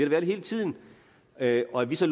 været hele tiden at at vi så